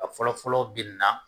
A fɔlɔ fɔlɔ bina